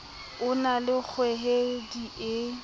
o na le kgohedi e